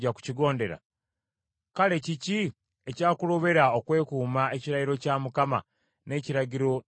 Kale kiki ekyakulobera okwekuuma ekirayiro kya Mukama n’ekiragiro kye nakulagira?”